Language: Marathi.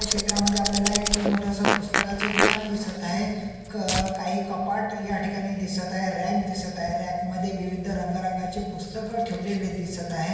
या चित्रामद्धे आपल्याला एक खूप मोठ अस पुस्तकाच दुकान दिसत आहे क अ काही कपाट या ठिकाणी दिसत आहे रॅक दिसत आहे रॅक मध्ये विविध रंगारंगाचे पुस्तक ठेवलेले दिसत आहे.